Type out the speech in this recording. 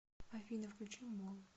афина включи болл